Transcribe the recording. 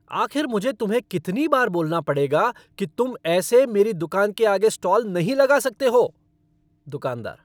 आखिर मुझे तुम्हें कितनी बार बोलना पड़ेगा कि तुम ऐसे मेरी दुकान के आगे स्टॉल नहीं लगा सकते हो? दुकानदार